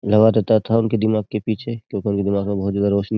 लगा देता था उनके दिमाग के पीछे क्योंकि उनके दिमाग में बहुत ज्यादा रोशनी --